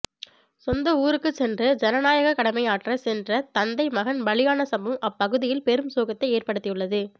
சொந்த ஊருக்குச் சென்று ஜனநாயகக் கடமை ஆற்றச் சென்ற தந்தை மகன் பலியான சம்பவம் அப்பகுதியில் பெரும் சோகத்தை ஏற்படுத்தியுள்ளது